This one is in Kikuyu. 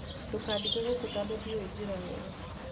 Ndũkandige gũkũ tondũ ndĩũĩ njĩra wega